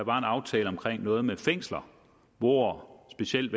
aftale omkring noget med fængsler hvor specielt